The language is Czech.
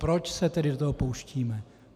Proč se tedy do toho pouštíme?